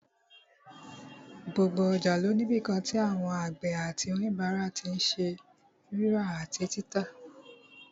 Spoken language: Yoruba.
Gbogbo ọjà ló ní ibìkan tí àwọn àgbẹ̀ àti òníbàárà tí n ṣe rírà àti títà